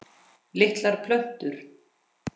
Litlar plötur